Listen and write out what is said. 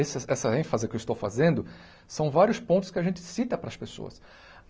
Essas essa ênfase que eu estou fazendo são vários pontos que a gente cita para as pessoas.